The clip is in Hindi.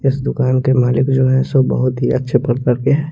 इस दूकान के मालिक जो है सो बोहोत ही अच्छे प्रकार के है।